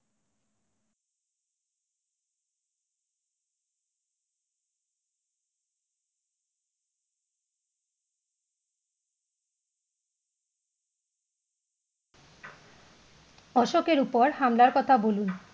অশোকের উপর হামলার কথা বলুন?